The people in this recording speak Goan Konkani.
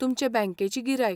तुमचे बँकेची गिरायक.